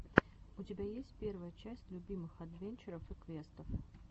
у тебя есть первая часть любимых адвенчуров и квестов